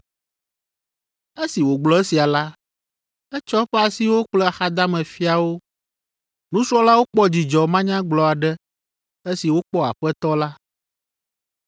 Esi wògblɔ esia la, etsɔ eƒe asiwo kple axadame fia wo. Nusrɔ̃lawo kpɔ dzidzɔ manyagblɔ aɖe esi wokpɔ Aƒetɔ la.